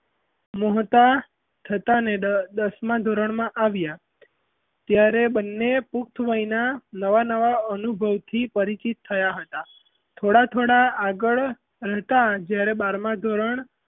મોટા થતાં ને દસમાં ધોરણમાં આવ્યાં ત્યારે બન્ને પુખ્તવયનાં નવાં નવાં અનુભવ થી પરિચિત થયાં હતાં. થોડા - થોડા આગળ જતાં જ્યારે બારમાં ધોરણ,